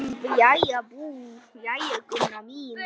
Jæja, Gunna mín.